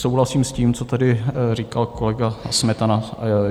Souhlasím s tím, co tady říkal kolega Smetana.